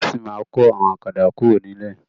Wọn sì ma kọ àwọn ọ̀kadà kuro nilẹ.